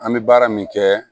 An bɛ baara min kɛ